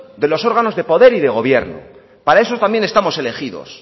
de los órganos de poder y de gobierno para eso también estamos elegidos